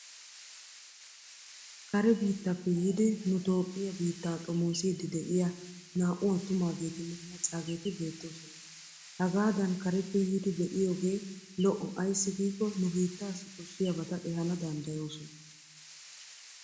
Kare biittappe yiidi nu Toophphiya biittaa xomoosiidi de'iyaa naa"u attumaageetinne maccaageeti beettoosona. Hagaadan kareppe yiidi be'iyoogee lo''o ayssi giikko nu bittaassi koshshiyabata ehaana danddayoosona.